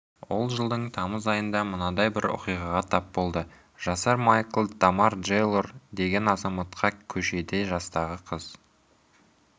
ол жылдың тамыз айында мынадай бір оқиғаға тап болды жасар майкл джамар тэйлор деген азаматқа көшеде жастағы қыз